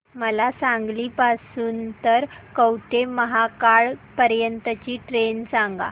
मला सांगली पासून तर कवठेमहांकाळ पर्यंत ची ट्रेन सांगा